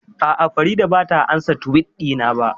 A'a, Farida ba ta ansa Tiwit ɗina ba